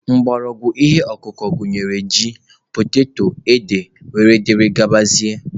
Mgbọrọgwụ ihe ọkụkụ gụnyere ji, poteto, ede wdg.